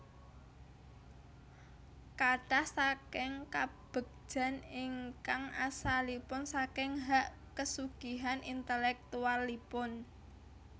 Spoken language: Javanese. Kathah saking kabegjan ingkang asalipun saking hak kesugihan intelektualipun